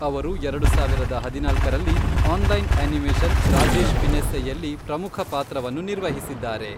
ಅವರು ಎರಡು ಸಾವಿರದ ಹದಿನಾಲ್ಕರಲ್ಲಿ ಆನ್ಲೈನ್ ಆನಿಮೇಷನ್ ರಾಜೇಶ್ ಫಿನೆಸ್ಸೆಯಲ್ಲಿ ಪ್ರಮುಖ ಪಾತ್ರವನ್ನು ನಿರ್ವಹಿಸಿದ್ದಾರೆ.